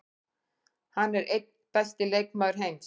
Hann er einn besti leikmaður heims.